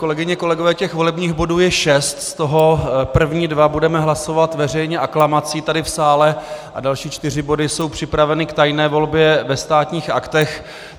Kolegyně a kolegové, těch volebních bodů je šest, z toho první dva budeme hlasovat veřejně aklamací tady v sále a další čtyři body jsou připraveny k tajné volbě ve Státních aktech.